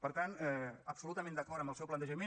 per tant absolutament d’acord amb el seu plantejament